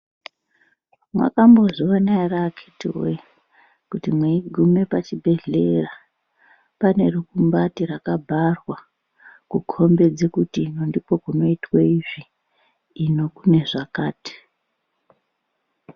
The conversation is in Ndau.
Makambozvionawo here antu we kuti mweigume pachibhedhleya pane mukumbati rakabharwa kukombedze kuti ndipo kunoitwe izvi ino kune zvakati